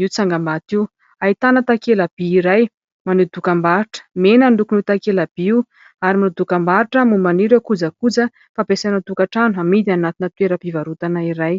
io tsangambato io ; ahitana takelaby iray maneho dokambarotra, mena ny lokon' io takelaby io ary manao dokambarotra momban'ireo kojakoja fampiasa any an-tokatrano amidy anatin'ny toeram-pivarotana iray.